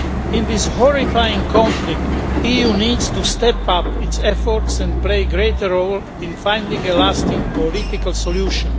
In this horrifying conflict, the EU needs to step up its efforts and play a greater role in finding a lasting political solution.